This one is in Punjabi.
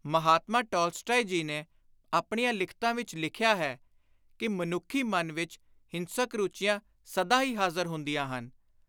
ਮਹਾਤਮਾ ਟਾਲਸਟਾਏ ਜੀ ਨੇ ਆਪਣੀਆਂ ਲਿਖਤਾਂ ਵਿਚ ਲਿਖਿਆ ਹੈ ਕਿ "ਮਨੁੱਖੀ ਮਨ ਵਿਚ ਹਿੰਸਕ ਰੁਚੀਆਂ ਸਦਾ ਹੀ ਹਾਜ਼ਰ ਹੁੰਦੀਆਂ ਹਨ।